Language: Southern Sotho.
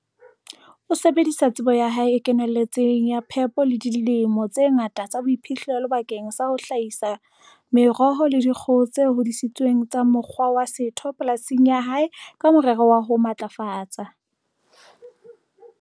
O sebedisa tsebo ya hae e kenelletseng ya tsa phepo le dilemo tse ngata tsa boiphihlelo bakeng sa ho hla hisa meroho le dikgoho tse hodisitsweng ka mokgwa wa setho polasing ya hae ka morero wa ho matlafatsa